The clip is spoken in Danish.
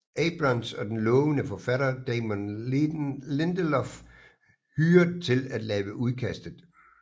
Abrams og den lovende forfatter Damon Lindelof hyret til at lave udkastet